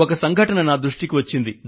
ఒక సంఘటన నా దృష్టికి వచ్చింది